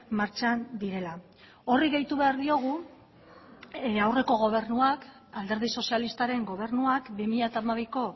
martxan direla horri gehitu behar diogu aurreko gobernuak alderdi sozialistaren gobernuak bi mila hamabiko